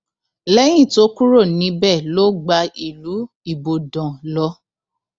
lẹyìn tó kúrò níbẹ ló gba ìlú ibodàn lọ